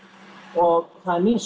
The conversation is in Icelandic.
og það er mín